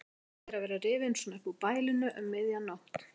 Vont að vera rifinn svona upp úr bælinu um miðja nótt.